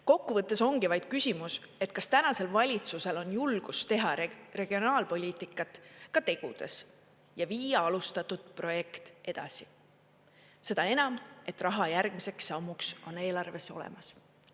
Kokkuvõttes ongi vaid küsimus, kas tänasel valitsusel on julgust teha regionaalpoliitikat ka tegudes ja viia alustatud projekt edasi, seda enam, et raha järgmiseks sammuks on eelarves olemas.